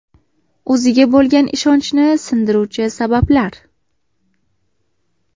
O‘ziga bo‘lgan ishonchni sindiruvchi sabablar.